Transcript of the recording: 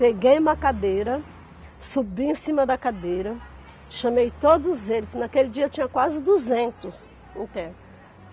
Peguei uma cadeira, subi em cima da cadeira, chamei todos eles, naquele dia tinha quase duzentos internos.